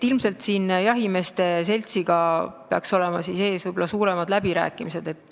Ilmselt peaksid jahimeeste seltsiga olema ees suuremad läbirääkimised.